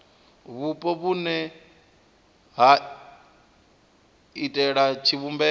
vhupo vhune ha iitela tshivhumbeo